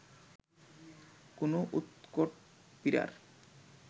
কোন উৎকট পীড়ার